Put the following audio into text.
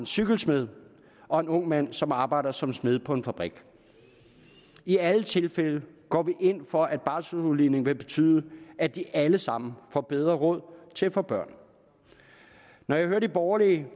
cykelsmed og en ung mand som arbejder som smed på en fabrik i alle tilfælde går vi ind for at barselsudligning vil betyde at de alle sammen får bedre råd til at få børn når jeg hører de borgerlige